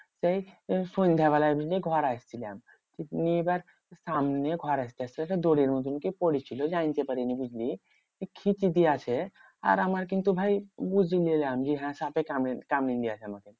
সেই সন্ধ্যাবেলার দিকে ঘর আসছিলাম। নিয়ে এবার সামনে ঘর আসতে আসতে সে দড়ির মতন কি পরে ছিল জানতে পারিনি বুঝলি? ক্ষিতি দিয়ে আছে আর আমার কিন্তু ভাই বুঝে নিলাম যে হ্যাঁ সাঁপে কামড়ে কামড়েন দিয়েছে।